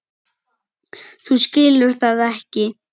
Þú skilur það ekki.